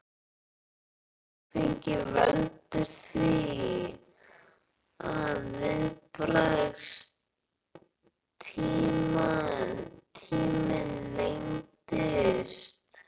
Áfengi veldur því að viðbragðstíminn lengist.